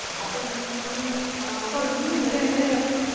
കൊറച്ചു മുന്നേ ലെ